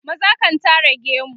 maza kan Tara gemu